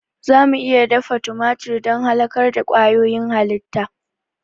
Za mu iya dafa tumatir don halakar da ƙwayoyin halitta.